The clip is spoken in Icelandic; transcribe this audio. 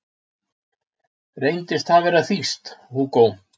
Reyndist það vera þýskt, Hugo